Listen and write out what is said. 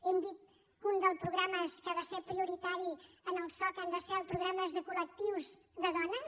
hem dit que uns dels programes que han de ser prioritaris en el soc han de ser els programes de col·lectius de dones